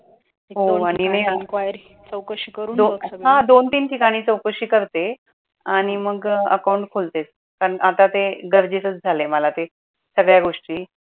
हा दोन तीन ठिकाणी चौकशी करते आणि मग account खोलते आता ते गरजेचच झालाय मला ते सगळ्या गोष्टी